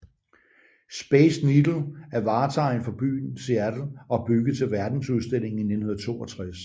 Space Needle er vartegn for byen Seattle og bygget til Verdensudstillingen i 1962